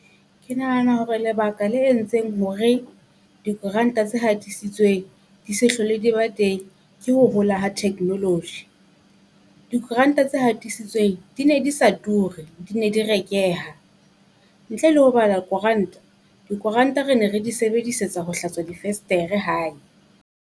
Ke nahana hore lebaka la entseng hore dikuranta tse hatisitsweng di se hlole di ba teng, ke ho hola ha technology. Dikuranta tse hatisitsweng di ne di se ture, di ne di rekeha. Ntle le ho bala koranta dikoranta re ne re di sebedisetsa ho hlatswa difestere hae.